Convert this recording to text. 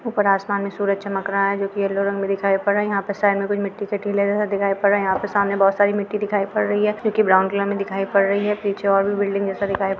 ऊपर आसमान में सुरज चमक रहा है जो कि येल्लो रंग में दिखाइ पड़ रहा है यहाँ पे साइड में कुछ मिट्टी के टीले जैसा दिखाइ पड़ रहा है यहाँ पे सामने बहुत सारी मिट्टी दिखाइ पड़ रही है जो कि ब्राउन कलर में दिखाइ पड़ रही है पीछे और भी बिल्डिंग जैसा--